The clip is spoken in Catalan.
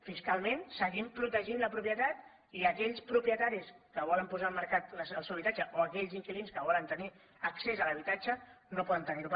fiscalment seguim protegint la propietat i aquells propietaris que volen posar al mercat el seu habitatge o aquells inquilins que volen tenir accés a l’ha bitatge no poden tenir ho